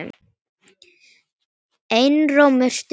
Einróma stutt.